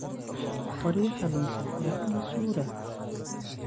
Qoryaha lunsan yaa ka masuula?